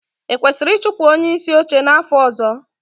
Ekwesịrị ịchụpụ onyeisi oche n'afọ ọzọ?